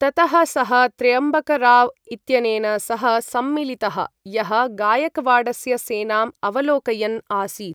ततः सः त्र्यम्बकराव् इत्यनेन सह सम्मिलितः, यः गायकवाडस्य सेनाम् अवलोकयन् आसीत्।